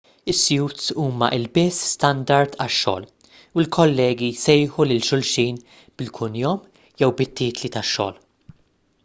is-suits huma ilbies standard għax-xogħol u l-kollegi jsejħu lil xulxin bil-kunjom jew bit-titli tax-xogħol